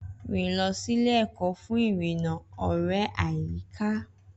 Rìn lọ sí ilé-ẹ̀kọ́ fún ìrìnnà ọ̀rẹ́ àyíká.